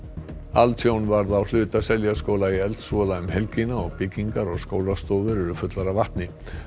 altjón varð á hluta Seljaskóla í eldsvoða um helgina og byggingar og skólastofur eru fullar af vatni